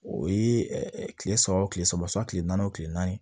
O ye kile saba o kile saba sɔn kile naani o tile naani